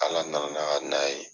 Ala nana n'a ka na ye.